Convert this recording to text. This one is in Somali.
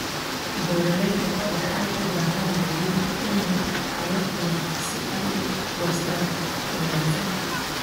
Beeralayda waxay u baahan yihiin iniin tayo leh si ay u goostaan ??wanaagsan.